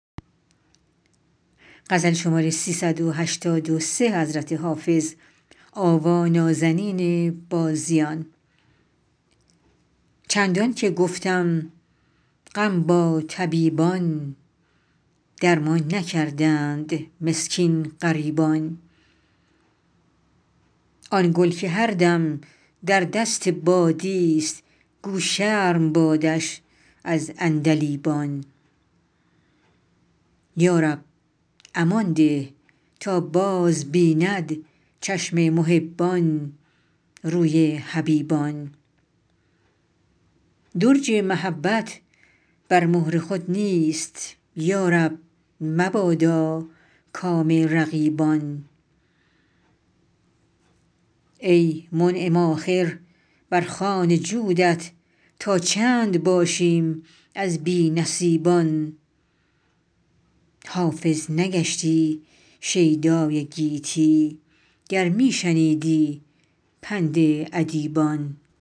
چندان که گفتم غم با طبیبان درمان نکردند مسکین غریبان آن گل که هر دم در دست بادیست گو شرم بادش از عندلیبان یا رب امان ده تا بازبیند چشم محبان روی حبیبان درج محبت بر مهر خود نیست یا رب مبادا کام رقیبان ای منعم آخر بر خوان جودت تا چند باشیم از بی نصیبان حافظ نگشتی شیدای گیتی گر می شنیدی پند ادیبان